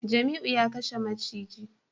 Jamiu ya kashe maciji